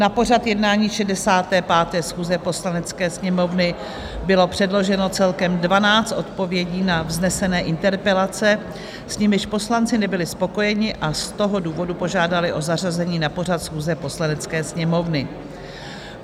Na pořad jednání 65. schůze Poslanecké sněmovny bylo předloženo celkem 12 odpovědí na vznesené interpelace, s nimiž poslanci nebyli spokojeni, a z toho důvodu požádali o zařazení na pořad schůze Poslanecké sněmovny.